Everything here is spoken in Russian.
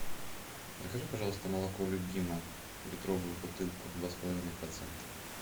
закажи пожалуйста молоко любимое литровую бутылку два с половиной процента